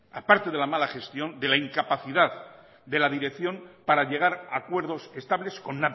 a parte del mala gestión de la incapacidad de la dirección para llegar a acuerdos estables con